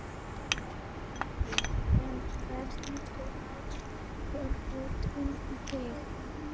Gísli: En hvernig leggst Þjóðhátíðin í þig?